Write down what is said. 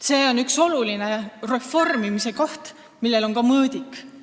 See on üks oluline reformimise koht, millel on ka mõõdik.